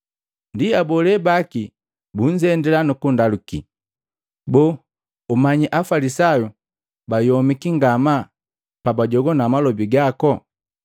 Ndi abole baki bunzendila nukundaluki, “Boo, umanyi Afalisayu bayomiki ngama pabajogwana malobi gaku?”